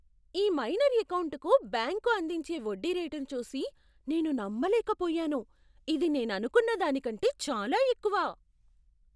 ఈ మైనర్ ఎకౌంటుకు బ్యాంకు అందించే వడ్డీ రేటును చూసి నేను నమ్మలేకపోయాను! ఇది నేననుకున్న దానికంటే చాలా ఎక్కువ!